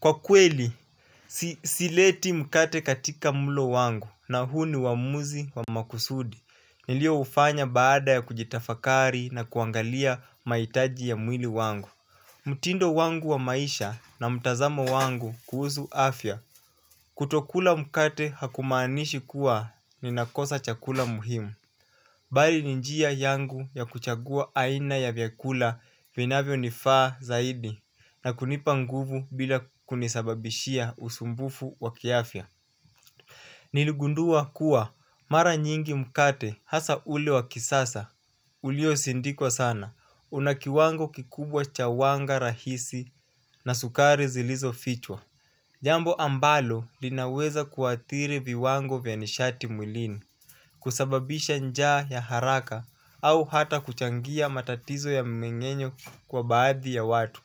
Kwa kweli, sileti mkate katika mlo wangu na huu ni uamuzi wa makusudi nilio ufanya baada ya kujitafakari na kuangalia maitaji ya mwili wangu. Mtindo wangu wa maisha na mtazamo wangu kuhuzu afya kutokula mkate hakumaanishi kuwa ninakosa chakula muhimu. Bali ni njia yangu ya kuchagua aina ya vyakula vinavyo nifaa zaidi na kunipa nguvu bila kunisababishia usumbufu wa kiafya. Niligundua kuwa mara nyingi mkate hasa ule wa kisasa ulio sindikwa sana una kiwango kikubwa cha wanga rahisi na sukari zilizo fichwa. Jambo ambalo linaweza kuathiri viwango vya nishati mwilini kusababisha njaa ya haraka au hata kuchangia matatizo ya mmeng'enyo kwa baadhi ya watu.